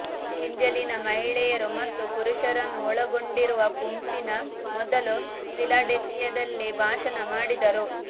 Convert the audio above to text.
Angelina ಮಹಿಳೆಯರು ಮತ್ತು ಪುರುಷರನ್ನು ಒಳಗೊಂಡಿರುವ ಗುಂಪಿನ ಮೊದಲು ಫಿಲಡೆಲ್ಫಿಯಾದಲ್ಲಿ ಭಾಷಣ ಮಾಡಿದರು